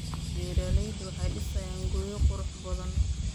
Beeraleydu waxay dhisayaan guryo qurux badan.